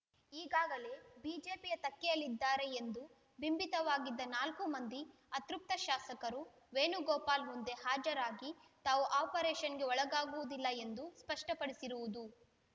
ಈಗಾಗಲೇ ಬಿಜೆಪಿಯ ತೆಕ್ಕೆಯಲ್ಲಿದ್ದಾರೆ ಎಂದು ಬಿಂಬಿತವಾಗಿದ್ದ ನಾಲ್ಕು ಮಂದಿ ಅತೃಪ್ತ ಶಾಸಕರು ವೇಣುಗೋಪಾಲ್‌ ಮುಂದೆ ಹಾಜರಾಗಿ ತಾವು ಆಪರೇಷನ್‌ಗೆ ಒಳಗಾಗುವುದಿಲ್ಲ ಎಂದು ಸ್ಪಷ್ಟಪಡಿಸಿರುವುದು